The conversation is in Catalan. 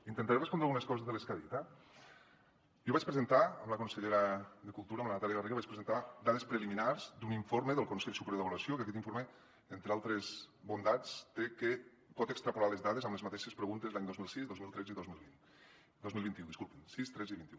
intentaré respondre algunes coses de les que ha dit eh jo vaig presentar amb la consellera de cultura amb la natàlia garriga dades preliminars d’un informe del consell superior d’avaluació que aquest informe entre altres bondats té que pot extrapolar les dades amb les mateixes preguntes l’any dos mil sis dos mil tretze i dos mil vint dos mil vint u disculpin sis tretze i vint un